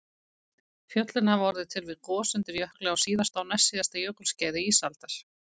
Fjöllin hafa orðið til við gos undir jökli á síðasta og næstsíðasta jökulskeiði ísaldar